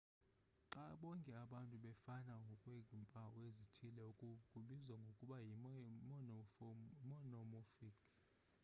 xa bonke abantu befana ngokweempawu ezithile oku kubizwa ngokuba yi-monomorphic